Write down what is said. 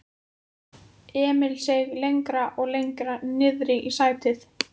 Emil seig lengra og lengra niðrí sætið.